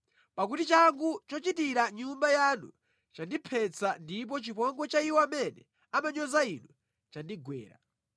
pakuti changu chochitira nyumba yanu chandiphetsa ndipo chipongwe cha iwo amene amanyoza Inu chandigwera.